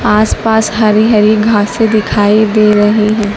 आसपास हरी हरी घासे दिखाई दे रही है।